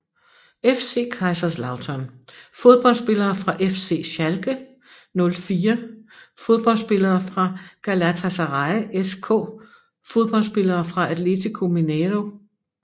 FC Kaiserslautern Fodboldspillere fra FC Schalke 04 Fodboldspillere fra Galatasaray SK Fodboldspillere fra Atletico Mineiro